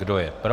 Kdo je pro?